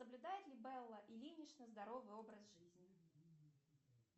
соблюдает ли белла ильинична здоровый образ жизни